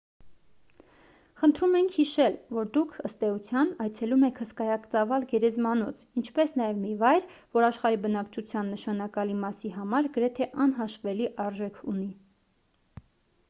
խնդրում ենք հիշել որ դուք ըստ էության այցելում եք հսկայածավալ գերեզմանոց ինչպես նաև մի վայր որ աշխարհի բնակչության նշանակալի մասի համար գրեթե անհաշվելի արժեք ունի